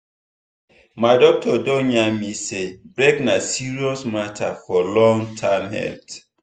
my doctor don yarn me say break na serious matter for long-term health.